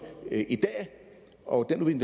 og at den